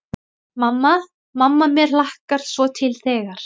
Mamma, mamma mér hlakkar svo til þegar.